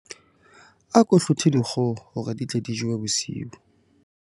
Ako hlothe dikgoho hore di tle di jowe bosiu.